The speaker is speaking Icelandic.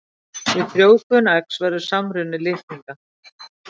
Við frjóvgun eggs verður samruni litninga.